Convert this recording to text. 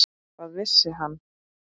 Hvað vissi hann?